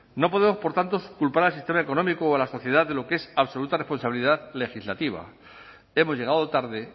no podemos por tanto culpar al sistema económico o a la sociedad de lo que es absoluta responsabilidad legislativa hemos llegado tarde